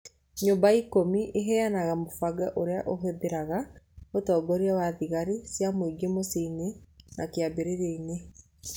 Nyũmba Ikũmi ĩheanaga mũbango ũrĩa ũhingũraga ũtongoria wa thigari cia mũingĩ mũciĩ-inĩ na kĩambĩrĩria-inĩ.